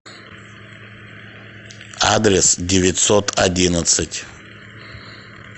адрес девятьсот одиннадцать